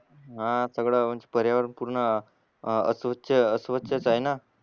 हा सगळाच पर्यावरण पूर्ण अस्वच्छ अस्वच्छ च आहे ना